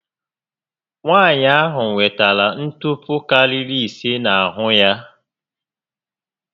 Nwaànyị ahụ nwetere ntupu karịrị ise n'ahụ ya